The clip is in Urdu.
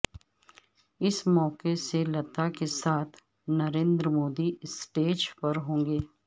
اس موقعے سے لتا کے ساتھ نریندر مودی سٹیج پر ہونگے